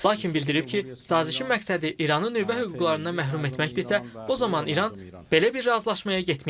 Lakin bildirib ki, sazişin məqsədi İranı nüvə hüquqlarından məhrum etməkdirsə, o zaman İran belə bir razılaşmaya getməyəcək.